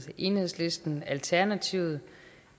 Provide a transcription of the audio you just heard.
enhedslisten alternativet